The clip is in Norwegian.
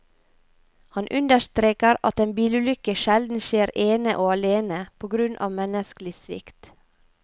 Han understreker at en bilulykke sjelden skjer ene og alene på grunn av menneskelig svikt.